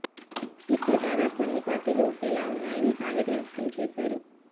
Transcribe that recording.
ఇప్పుడు దాదాపు అన్ని పార్టీలు ఒకేలా ఉన్నాయని ఆవేదన వ్యక్తం చేశారు